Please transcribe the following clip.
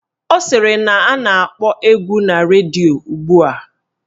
Ọ sịrị na a na-akpọ egwu na redio ugbua